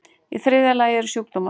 Í þriðja lagi eru sjúkdómar.